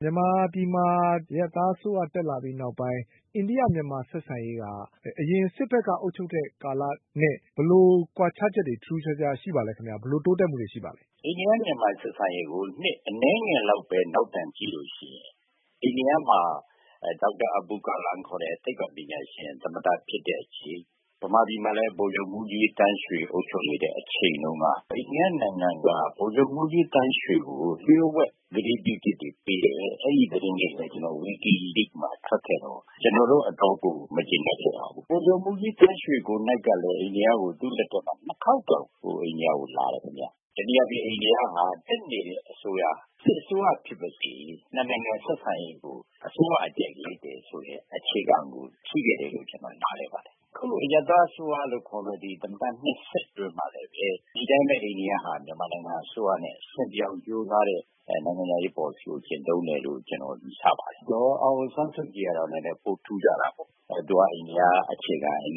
။ မြန်မာပြည်မှာ အရပ်သားအစိုးရတက်လာပြီးနောက်ပိုင်း အိန္ဒိယ-မြန်မာ ဆက်ဆံရေးက အရင် စစ်ဘက်က အုပ်ချုပ်တဲ့ကာလနဲ့ ဘယ်လို ကွာခြားချက်တွေ ထူးထူးခြားခြားရှိပါလဲခင်ဗျ။ ဘယ်လို တိုးတက်မှုတွေ ရှိပါလဲ။ ဒေါက်တာတင့်ဆွေ ။ ။ အိန္ဒိယ-မြန်မာဆက်ဆံရေးကို နှစ်အနည်းငယ်လောက်ပဲ နောက်ပြန်ကြည့်လို့ရှိရင် အိန္ဒိယမှာ ဒေါက်တာ အဘူ ကာလန်ခေါ်တဲ့ သိပ္ပံပညာရှင် သမ္မတဖြစ်တဲ့အချိန် မြန်မာပြည်မှာလည်း ဗိုလ်ချုပ် မှူးကြီး သန်းရွှေ အုပ်ချုပ်နေတဲ့အချိန်တုန်းက အိန္ဒိယနိုင်ငံမှာ ဗိုလ်ချုပ်မှူးကြီးသန်းရွှေကို လျှို့ဝှက် ကတိပြုချက် တွေ ပေးတယ်။ အဲဒီသတင်းတွေလည်း wikileak မှာ ထွက်ခဲ့တော့ ကျနော်တို့ အတော် မကျေနပ်ခဲ့ကြပါဘူး။ ဗိုလ်ချုပ်မှူးကြီးသန်းရွှေ ကိုယ်နှိုက်ကလည်း အိန္ဒိယကို သူ့လက်ထက်မှာ နှစ်ခေါက်တောင် အိန္ဒိယကိုလာတယ် ခင်ဗျ။ တနည်းအားဖြင့် အိန္ဒိယဟာ တက်နေတဲ့အစိုးရဟာ စစ်အစိုးရဖြစ်ပါစေ နှစ်နိုင်ငံဆက်ဆံရေးကို အစိုးရအကြိုက် ရွေးတယ်ဆိုတဲ့ အခြေခံမူ ရှိခဲ့တယ်လို့ ထင်ပါတယ်။ အခု အရပ်သားအစိုးရလို့ခေါ်တဲ့ သမ္မတနှစ်ဆက်အတွင်းမှာလည်း ဒီအတိုင်းပဲ အိန္ဒိယဟာ မြန်မာနိုင်ငံနဲ့ အဆင်ပြေအောင်ကြိုးစားတဲ့ နိုင်ငံခြားရေးပေါ်လစီကို ကျင့်သုံးတယ်လို့ ယူဆပါတယ်။ ဒေါ်အောင်ဆန်းစုကြည် ကတော့ နည်းနည်းပိုထူးခြားတာပေါ့။ သူက အိန္ဒိယအခြေခံတဲ့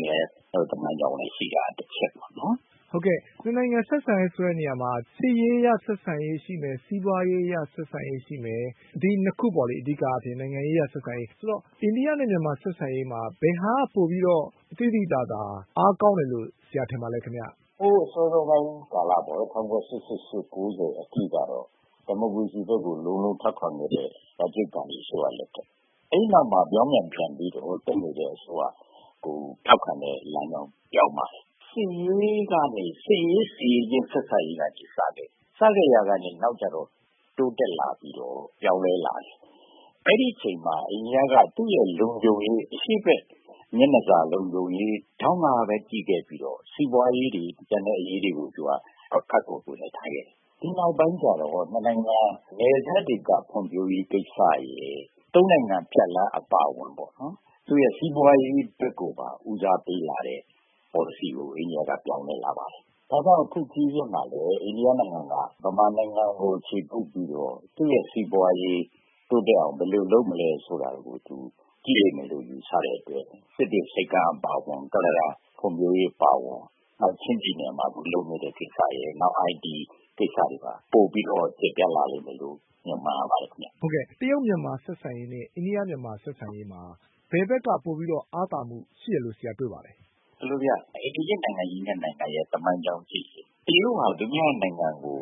သမိုင်းကြောင်းလည်း ရှိတာက တချက်ပေါ့။ ဗွီအိုအေ ။ ။ ဟုတ်ကဲ့၊ နှစ်နိုင်ငံဆက်ဆံတယ်ဆိုတဲ့နေရာမှာ စစ်ရေးအရ ဆက်ဆံရေးရှိမယ်၊ စီးပွားရေး အရ ဆက်ဆံရေး ရှိမယ်။ ဒီ နှစ်ခုပေါ့လေ-အဓိကအားဖြင့် နိုင်ငံရေးအရ ဆက်ဆံရေး- ဆိုတော့ အိန္ဒိယနဲ့မြန်မာ ဆက်ဆံရေးဟာ ဘယ်ဟာက သိသိသာသာ ပိုပြီးတော့ အားကောင်းတယ်လို့ ဆရာထင်ပါသလဲ ခင်ဗျ။ ဒေါက်တာတင့်ဆွေ ။ ။ ဟိုး စောစောပိုင်းကာလပေါ့နော်- ၁၉၈၈-၉၀ အထိကတော့ ဒီမိုကရေစီဘက်ကို လုံးလုံးထောက်ခံ ခဲ့တဲ့ ရာဂျစ်ဂန္ဒီအစိုးရလက်ထက်ပေါ့။ အဲဒီနောက်မှာ ပြောင်းပြန် ပြန်ပြီးတော့ တက်နေတဲ့ အစိုးရကို ထောက်ခံတဲ့လမ်းကြောင်း ပြောင်းပါတယ်။ စစ်ရေးကနေ စစ်ရေး စစ်ရေးချင်း ဆက်ဆံရေးကနေ စခဲ့တယ်။ စခဲ့ရာကနေ နောက်ကျတော့ တိုးတက်လာပြီးတော့ ပြောင်းလဲလာတယ်။ အဲဒီအချိန်မှာ အိန္ဒိယက သူ့ရဲ့လုံခြုံရေး အရှေ့ဘက်မျက်နှာစာလုံခြုံရေးဒေါင့်ကပဲ ကြည့်ခဲ့ပြီးတော့ စီးပွားရေးတွေ၊ ကျန်တဲ့အရေးတွေကို သူက ခပ်ကွယ်ကွယ်နဲ့ ထားခဲ့တယ်။ ဒီနောက်ပိုင်းကျတော့ နှစ်နိုင်ငံ နယ်စပ်ဒေသဖွံ့ဖြိုးရေးကိစ္စရယ်၊ သုံးနိုင်ငံ ဖြတ်လမ်းအပါအဝင် သူ့ရဲ့စီးပွားရေးဘက်ကိုပါ ဦးစားပေးလာတဲ့ပေါ်လစီကို အိန္ဒိယက ပြောင်းလဲလာပါတယ်။ ဒါကြောင့် အခုခရီးစဉ်မှာလည်း အိန္ဒိယနိုင်ငံက မြန်မာနိုင်ငံကို အခြေကုပ်ပြီးတော့ သူ့ရဲ့စီးပွားရေး တိုးတက် အောင် ဘယ်လို လုပ်မလဲဆိုတာကို ကြည့်လိမ့်မယ်လို့ ယူဆတဲ့အတွက် စစ်တွေဆိပ်ကမ်းအပါအဝင် ကုလားတန် ဖွံ့ဖြိုးရေးအပါအဝင် ချင်းပြည်နယ်မှာလုပ်နေတဲ့ ကိစ္စရယ် နောက် IT ကိစ္စတွေပါ တိုးပြီးတော့ ကျယ်ပြန့်လာလိမ့်မယ်လို့ မျှော်မှန်းရပါတယ်ခင်ဗျ။ ဗွီအိုအေ ။ ။ ဟုတ်ကဲ့၊ တရုတ်-မြန်မာ ဆက်ဆံရေးနဲ့ အိန္ဒိယ-မြန်မာ ဆက်ဆံရေးမှာ ဘယ်ဘက်က ပိုပြီးတော့ အားသာမှုရှိတယ်လို့ ဆရာတွေ့ပါသလဲ။ ဒေါက်တာတင့်ဆွေ ။ ။ ဒီလိုဗျ- အိမ်နီးချင်းနိုင်ငံကြီးနှစ်နိုင်ငံရဲ့ သမိုင်းကြောင်းကိုကြည့်ရင် တရုတ်ဟာ အိန္ဒိယနိုင်ငံကို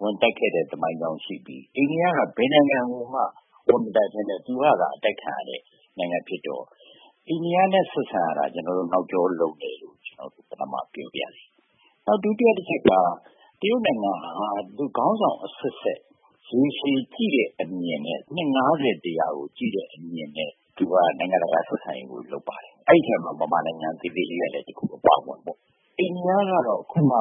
ဝင်တိုက်ခဲ့တဲ့သမိုင်းကြောင်းရှိပြီး အိန္ဒိယက ဘယ်နိုင်ငံကိုမှ ဝင်မတိုက်ဘဲ သူကသာ အတိုက်ခံရတဲ့ နိုင်ငံဖြစ်တော့ အိန္ဒိယနဲ့ဆက်ဆံရတာ ကျနော်တို့ နောက်ကျောလုံတယ်လို့ ကျနော်တို့ ပထမပြောပါရစေ။ နောက် ဒုတိယတချက်က တရုတ်နိုင်ငံဟာ ခေါင်းဆောင်အဆက်ဆက် ရေရှည်ကြည့်တဲ့ အမြင်နဲ့ နှစ် ၅၀-၁၀၀ ကိုကြည့်တဲ့အမြင်နဲ့ သူက နိုင်ငံတကာ ဆက်ဆံရေးကို လုပ်ပါတယ်။ အဲဒီထဲမှာ မြန်မာနိုင်ငံ သေးသေးလေးကလည်း တခု အပါအဝင်ပေါ့။ အိန္ဒိယကတော့ အခုမှ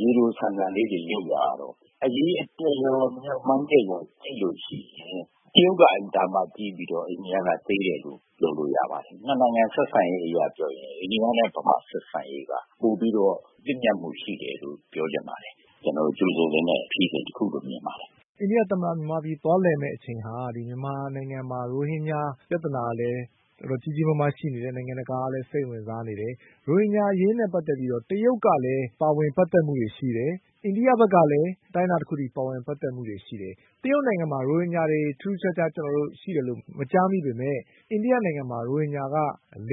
ရေတိုဆန်ဆန်လေးတွေ လုပ်လာတော့ အရေအတွက်ရော၊ မျှော်မှန်းချက်ရော အဲဒီလို ကြည့်ရင် တရုတ်က အင်မတန်မှ ကြီးပြီးတော့ အိန္ဒိယကသေးတယ်လို့ ပြောလို့ရပါတယ်။ နှစ်နိုင်ငံဆက်ဆံရေး အရ ပြောရင် အိန္ဒိယနဲ့ဗမာဆက်ဆံရေးက ပိုပြီးတော့ သင့်မြတ်မှုရှိတယ်လို့ ပြောချင်ပါတယ်။ ကြိုဆိုသင့်တဲ့ ခရီးစဉ်တခုလို့ မြင်ပါတယ်။ ဗွီအိုအေ ။ ။ အိန္ဒိယသမ္မတ မြန်မာပြည်ကို သွားလည်မယ့်အချိန်ဟာ မြန်မာနိုင်ငံမှာ ရိုဟင်ဂျာ ပြဿနာ လည်း တော်တော် ကြီးကြီးမားမားရှိနေတယ်။ နိုင်ငံတကာကလည်း စိတ်ဝင်စားနေတယ်။ ရိုဟင်ဂျာအရေးနဲ့ ပတ်သက်ပြီးတော့ တရုတ်ကလည်း ပါဝင်ပတ်သက်မှုတွေ ရှိတယ်။ အိန္ဒိယဘက်ကလည်း အတိုင်းအတာတခု အထိ ပါဝင် ပတ်သက်မှုတွေရှိတယ်။ တရုတ်နိုင်ငံမှာ ရိုဟင်ဂျာတွေ ထူးထူးခြားခြားရှိတယ်လို့ မကြားမိပေမယ့် အိန္ဒိယနိုင်ငံမှာ ရိုဟင်ဂျာက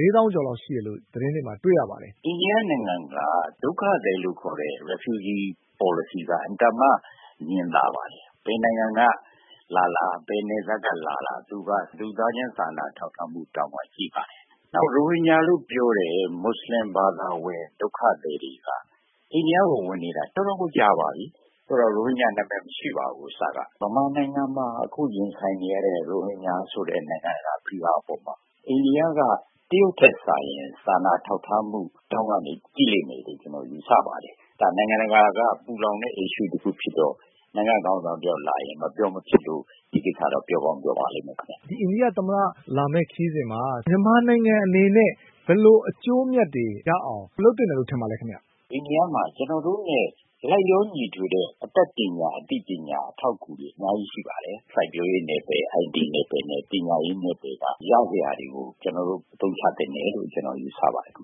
၄ သောင်းကျော်လောက်ရှိတယ်လို့ သတင်းတွေမှာ တွေ့ရပါတယ်။ ဒေါက်တာတင့်ဆွေ ။ ။ အိန္ဒိယနိုင်ငံက ဒုက္ခသည်လို့ခေါ်တဲ့ refugee policy က အင်မတန်မှ ငြင်သာပါ တယ်။ ဘယ်နိုင်ငံကလာလာ၊ ဘယ်နယ်စပ်ကလာလာ သူက လူသားချင်း စာနာထောက်ထားမှုဒေါင့်က ကြည့် ပါတယ်။ နောက် ရိုဟင်ဂျာလို့ ပြောတဲ့ မူဆလင်ဒုက္ခသည်တွေက အိန္ဒိယကိုဝင်နေတာ တော်တော့ကို ကြာပါပြီ။ ဆိုတော့ ရိုဟင်ဂျာနာမည်မရှိပါဘူး-အစက။ မြန်မာနိုင်ငံမှာ အခုရင်ဆိုင်နေရတဲ့ ရိုဟင်ဂျာဆိုတဲ့ နိုင်ငံတကာ ဖိအားအပေါ်မှာ အိန္ဒိယက တရုတ်ထက်စာရင် စာနာထောက်ထားမှု ဒေါင့်ကနေ ကြည့်လိမ့်မယ်လို့ ကျနော် ယူဆပါတယ်။ ဒါ နိုင်ငံတကာက ပူလောင်တဲ့ issue တခုဖြစ်တဲ့ နိုင်ငံ့ခေါင်းဆောင် တယောက်လာရင် မပြော မဖြစ်လို့ ဒီတခါတော့ ပြောကောင်း ပြောပါလိမ့်မယ်ခင်ဗျ။ ဗွီအိုအေ ။ ။ အိန္ဒိယသမ္မတ လာမယ့်ခရီးစဉ်မှာ မြန်မာနိုင်ငံအနေနဲ့ ဘယ်လို အကျိုးအမြတ်တွေရအောင် လုပ်သင့်တယ်လို့ ထင်ပါလဲခင်ဗျ။ ဒေါက်တာတင့်ဆွေ ။ ။ အိန္ဒိယမှာ ကျနော်တို့နဲ့လိုက်လျောညီထွေတဲ့ အတတ်ပညာ၊ အသိပညာ၊ အထောက် အကူတွေ အများကြီးရှိပါတယ်။ စိုက်ပျိုးရေးနယ်ပယ်၊ IT နယ်ပယ်၊ ပညာရေးနယ်ပယ်မှာ ရစရာတွေကို အသုံးချသင့်တယ်လို့ ကျနော် ယူဆပါတယ်ခင်ဗ